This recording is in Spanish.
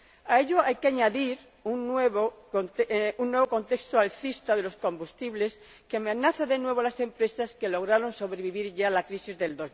A ello hay que añadir un nuevo contexto alcista de los combustibles, que amenaza de nuevo a las empresas que lograron sobrevivir ya a la crisis de